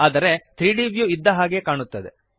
ಆದರೆ 3ದ್ ವ್ಯೂ ಇದ್ದ ಹಾಗೆಯೇ ಕಾಣುತ್ತದೆ